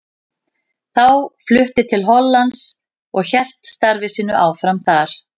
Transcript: Þá flutti til Hollands og hélt starfi sínu áfram þar.